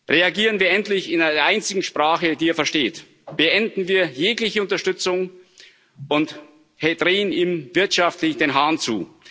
Reagieren wir endlich in der einzigen Sprache, die er versteht Beenden wir jegliche Unterstützung und drehen wir ihm wirtschaftlich den Hahn zu!